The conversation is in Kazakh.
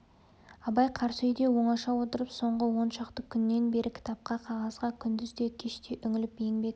абай қарсы үйде оңаша отырып соңғы он шақты күннен бері кітапқа қағазға күндіз де кеш те үңіліп еңбек